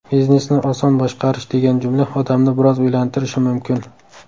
Biznesni oson boshqarish degan jumla odamni biroz o‘ylantirishi mumkin.